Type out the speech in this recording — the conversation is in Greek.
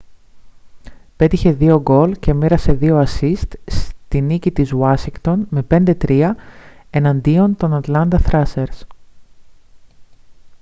πέτυχε 2 γκολ και μοίρασε 2 ασσίστ στη νίκη της ουάσιγκτον με 5-3 εναντίον των ατλάντα θράσερς